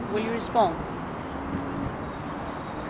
Collega, vanzelfsprekend zijn wij op de hoogte van de cijfers.